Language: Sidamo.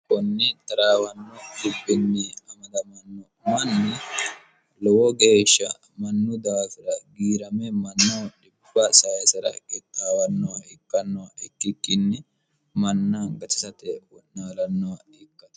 kunni xaraawanno hibbinni amadamanno manni lowo geeshsha mannu daafira giirame manno d sayisera gittaawanno ikkanno ikkikkinni manna gatisate wo'naalanno ikkato